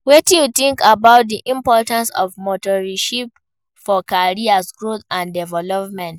Wetin you think about di importance of mentorship for career growth and development?